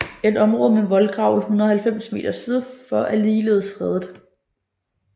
Et område med voldgrav 190 m syd for er ligeledes fredet